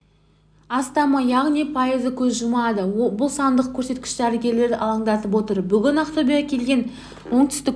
астамы яғни пайызы көз жұмады бұл сандық көрсеткіш дәрігерлерді алаңдатып отыр бүгін ақтөбеге келген оңтүстік